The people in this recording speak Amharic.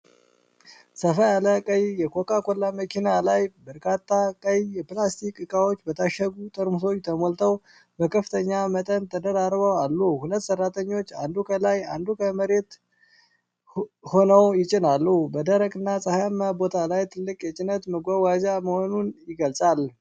ሰፋ ያለ ቀይ የኮካ ኮላ መኪና ላይ፣ በርካታ ቀይ የፕላስቲክ እቃዎች በታሸጉ ጠርሙሶች ተሞልተው በከፍተኛ መጠን ተደራርበው አሉ። ሁለት ሰራተኞች፣ አንዱ ከላይ አንዱ ከመሬት ሆነው ይጭናሉ፣ በደረቅና ፀሐያማ ቦታ ላይ ትልቅ የጭነት መጓጓዣ መሆኑን ይገልጻል።